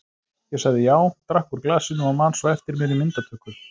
Ég sagði já, drakk úr glasinu og man svo eftir mér í myndatöku.